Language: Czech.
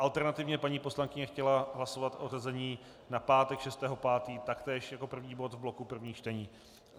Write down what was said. Alternativně paní poslankyně chtěla hlasovat o zařazení na pátek 6. 5. taktéž jako první bod z bloku prvních čtení.